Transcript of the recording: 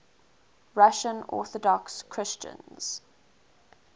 russian orthodox christians